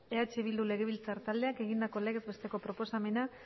eh bildu legebiltzar taldeak egindako legez besteko proposamena